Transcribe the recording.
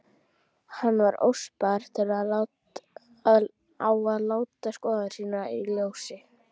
Var hann óspar á að láta skoðanir sínar í ljósi.